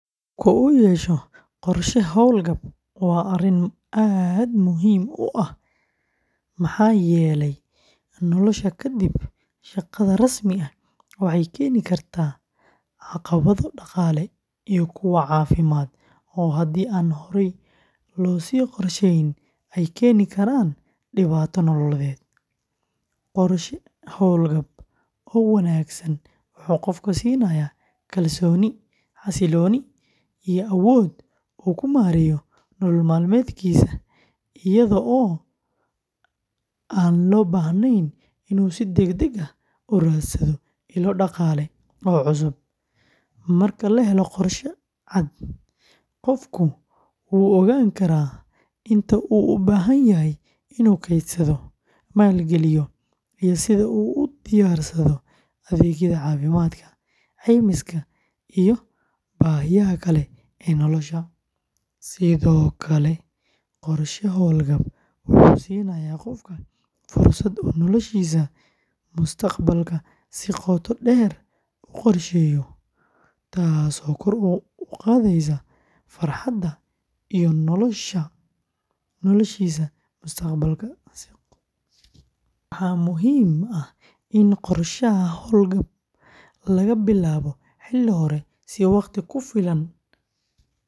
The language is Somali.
In qofku yeesho qorshe hawlgab waa arrin aad muhiim u ah maxaa yeelay nolosha kadib shaqada rasmi ah waxay keeni kartaa caqabado dhaqaale iyo kuwo caafimaad oo haddii aan horey loo sii qorsheyn ay keeni karaan dhibaato nololeed. Qorshe hawlgab oo wanaagsan wuxuu qofka siinayaa kalsooni, xasillooni iyo awood uu ku maareeyo nolol maalmeedkiisa iyadoo aan loo baahnayn inuu si degdeg ah u raadsado ilo dhaqaale oo cusub. Marka la helo qorshe cad, qofku wuu ogaan karaa inta uu u baahan yahay inuu kaydsado, maalgeliyo, iyo sida uu u diyaarsado adeegyada caafimaadka, caymiska, iyo baahiyaha kale ee nolosha. Sidoo kale, qorshe hawlgab wuxuu siinayaa qofka fursad uu noloshiisa mustaqbalka si qoto dheer u qorsheeyo, taasoo kor u qaadaysa farxadda iyo raynraynta nolosha. Waxaa muhiim ah in qorshaha hawlgab laga bilaabo xilli hore si waqti ku filan loogu helo kaydka loo baahan yahay.